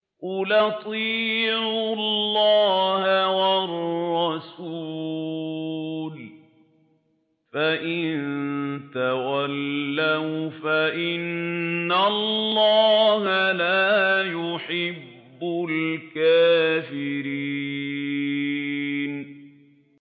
قُلْ أَطِيعُوا اللَّهَ وَالرَّسُولَ ۖ فَإِن تَوَلَّوْا فَإِنَّ اللَّهَ لَا يُحِبُّ الْكَافِرِينَ